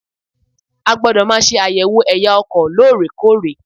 A gbọ́dọ̀ máa ṣe àyẹ̀wò ẹ̀ya ọkọ̀ lórèkórè.